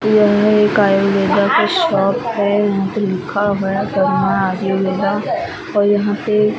यहाँ एक आयुर्वेदा का शॉप है यहाँ पे लिखा हुआ है फार्मा आयुर्वेदा और यहाँ पे दो--